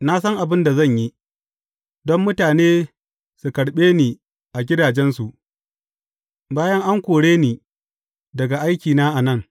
Na san abin da zan yi, don mutane su karɓe ni a gidajensu, bayan an kore ni daga aiki a nan.’